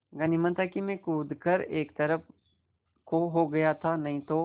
गनीमत है मैं कूद कर एक तरफ़ को हो गया था नहीं तो